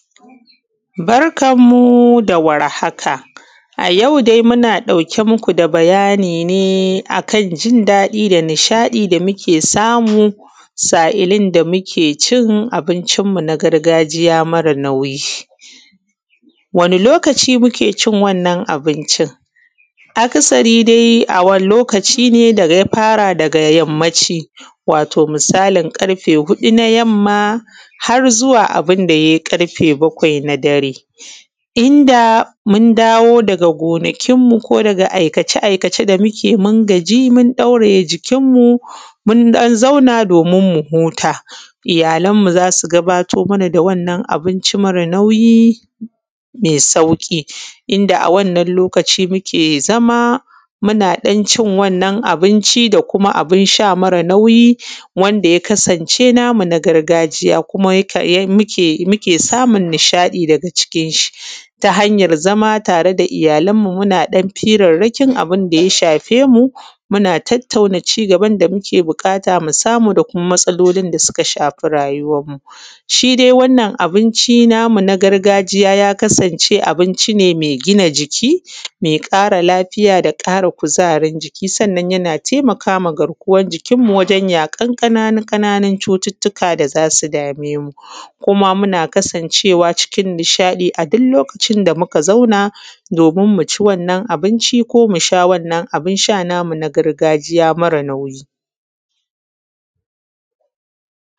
Barkan mu da warhaka. A yau dai muna ɗauke muku da bayani ne kan jin daɗi nishaɗi da samu sa’illin da mukcin abincin mu na gargajiya mare nauyi. Wani lokaci muke cin wannan abincin? Akasari dai muna faraway ne da yammaci misalim ƙarfe huɗu na yamma har zuwa abunda yakai ƙarfe bakwai na dare. Inda mun daga gonakin mu ko daga aikace aikace da muke mun gaji mun ɗauraye jikin mu, mun ɗan zauna domin muhuta. Iyyalan mu zasu gabatar mana da wannan abinci mara nauyi mai sauƙi inda a wannan lokaci muke samu zama muna ɗan cin wanna abinci mare nauyi mai sauƙi da kuma abin sha mara nauyi wanda ya kasan ce namu na gargajiya kuma muke samun nishaɗi daga cikin shi, ta hanyar zama tare da iyyalan mu muna ɗan hirarrakin abinda ya shafemu muna tattauna cigaban da muke buƙata musamu da kuma matsalolin da suka shafemu. Shi dai wannan abinci namu na gargajiya ya kasan ce abinci ne mai gina jiki, mai ƙara lafiya da ƙara kuzarin jiki sannan yana taimakama garkuwan jikin mu wajen yaƙan ƙananu ƙananun cututtuka da zasu da memu, kuma muna kasan cewa cikin nishaɗi aduk lokacin da muka zau domin muci wannan abinci ko musha wannan abun sha namu na gargajiya mare nauyi.